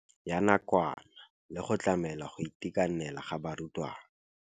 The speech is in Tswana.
Ya nakwana le go tlamela go itekanela ga barutwana.